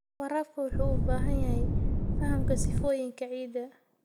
Waraabka wuxuu u baahan yahay fahamka sifooyinka ciidda.